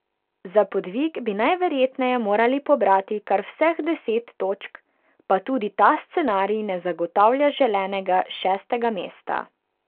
Za podvig bi najverjetneje morali pobrati kar vseh deset točk, pa tudi ta scenarij ne zagotavlja želenega šestega mesta.